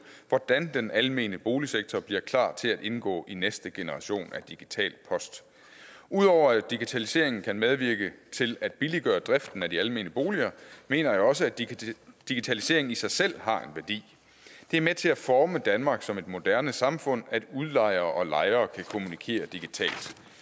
hvordan den almene boligsektor bliver klar til at indgå i næste generation af digital post ud over at digitaliseringen kan medvirke til at billiggøre driften af de almene boliger mener jeg også at digitaliseringen i sig selv har en værdi det er med til at forme danmark som et moderne samfund at udlejere og lejere kan kommunikere digitalt